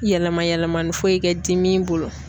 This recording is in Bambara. Yɛlɛma yɛlɛma ni foyi kɛ di min bolo.